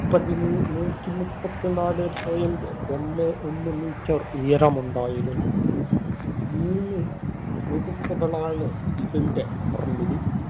പതിമൂ~ നൂറ്റി മുപ്പത്തിനാലേ point ഒന്നെ ഒന്ന് meter ഉയരം ഉണ്ടായിരുന്നു. മുന്ന് എടുപ്പുകളാണ് ഇതിന്‍റെ നിർമിതി.